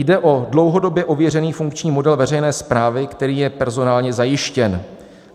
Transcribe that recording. Jde o dlouhodobě ověřený funkční model veřejné správy, který je personálně zajištěn.